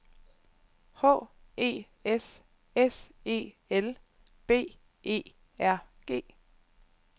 H E S S E L B E R G